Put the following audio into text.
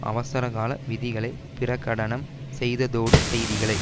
அவசர கால விதிகளை பிரகடனம் செய்ததோடு செய்திகளை